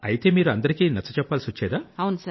మీరు అందరికీ నచ్చజెప్పాల్సొచ్చేదా